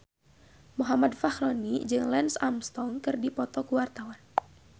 Muhammad Fachroni jeung Lance Armstrong keur dipoto ku wartawan